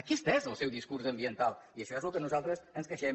aquest és el seu discurs ambiental i això és del que nosaltres ens queixem